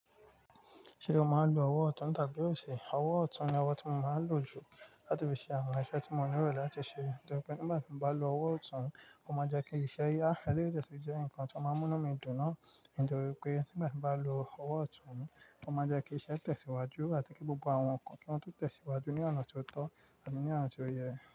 Ṣé o máa ń lo ọwọ́ ọ̀tún tàbí òsì? Ọwọ́ ọ̀tún ni ọwọ́ tí mo máa ń lò jù láti fi ṣe àwọn iṣẹ́ tí mo nílò láti ṣe. Nítorí pé nígbà tí mo bá lo ọwọ́ ọ̀tún mi, ó máa ń jẹ́ kí iṣẹ́ ya hẹ́n léèéjẹ́ kí ó jẹ́ nǹkan tí ó máa ń mú mí dùn náà. Ǹitori wípé nígbà tí mo bá lo ọwọ́ ọ̀tún mi, ó máa ń jẹ́ kí iṣẹ́ tẹ̀síwájú àti kí gbogbo àwọn nǹkan kí wọ́n tún tẹ̀síwájú ní ọ̀nà tó tọ́ àti ní ọ̀nà tó yẹ.